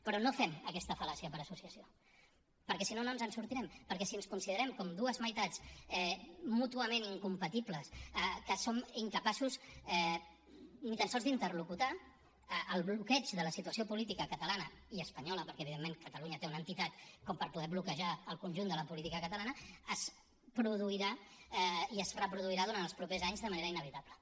però no fem aquesta fal·làcia per associació perquè si no no ens en sortirem perquè si ens considerem com dues meitats mútuament incompatibles que som incapaços ni tan sols d’interlocutar el bloqueig de la situació política catalana i espanyola perquè evidentment catalunya té una entitat com per poder bloquejar el conjunt de la política espanyola es produirà i es reproduirà durant els propers anys de manera inevitable